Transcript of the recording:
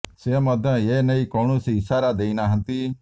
ସେ ମଧ୍ୟ ଏ ନେଇ କୌଣସି ଇସାରା ଦେଇ ନାହାନ୍ତି